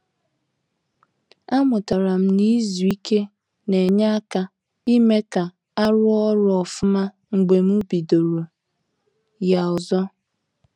A mụtara m na-izu ike na-enye aka ime ka a ruo ọrụ ofuma mgbe m bidoro ya ọzọ